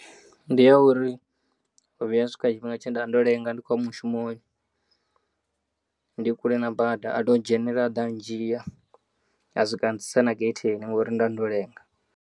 Ndi ya uri, ho vhuya ha swika tshifhinga tshenda ndo lenga ndi kho u ya mushumoni ndi kule na bada atondzhenela aḓa andzhiya a swika antsitsa na getheni ngauri nda ndolenga.